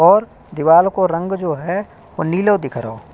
और दीवाल को रंग जो है वो नीलो दिख रहो --